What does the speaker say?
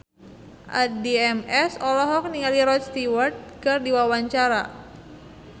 Addie MS olohok ningali Rod Stewart keur diwawancara